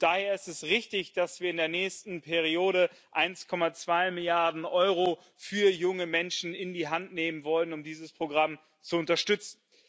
Daher ist es richtig, dass wir in der nächsten Periode 1,2 Milliarden Euro für junge Menschen in die Hand nehmen wollen, um dieses Programm zu unterstützen.